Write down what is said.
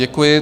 Děkuji.